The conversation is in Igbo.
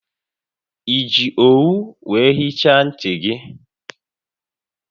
Eji owu wee hichaa nti gi?